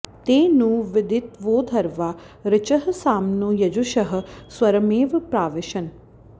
ते नु विदित्वोर्ध्वा ऋचः साम्नो यजुषः स्वरमेव प्राविशन्